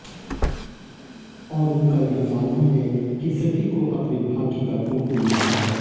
और उनका यह मानना है कि सभी को अपने भाग्य का कुमकुम मिलता है